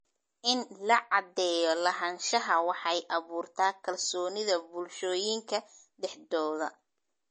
In la caddeeyo lahaanshaha waxay abuurtaa kalsoonida bulshooyinka dhexdooda.